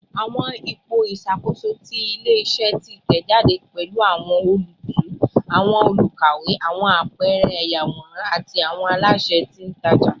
Awọn ipo iṣakoso ti ile-iṣẹ titẹjade pẹlu awọn olootu, awọn olukawewe, awọn apẹẹrẹ ayaworan, ati awọn alaṣẹ titaja